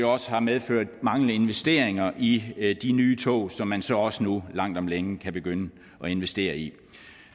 også har medført manglende investeringer i de nye tog som man så også nu langt om længe kan begynde at investere i